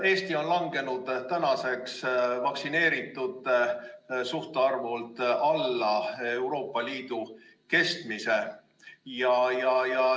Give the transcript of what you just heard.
Eesti on langenud vaktsineeritute suhtarvult alla Euroopa Liidu keskmise.